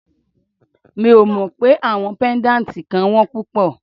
Mi ò mọ pé àwọn pẹ́ndátì kan wón púpọ̀.